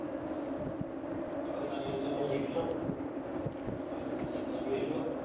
જેટલું હવે તારે જેટલું માં જેતુમાં